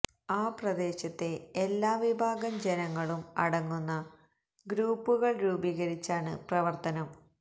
ആ പ്രദേശത്തെ എല്ലാ വിഭാഗം ജനങ്ങളും അടങ്ങുന്ന ഗ്രൂപ്പുകള് രൂപീകരിച്ചാണ് പ്രവര്ത്തനം